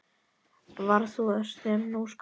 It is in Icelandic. Varð það úr, sem nú skal greina.